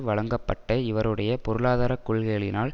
வழங்கப்பட்ட இவருடைய பொருளாதார கொள்கைகளினால்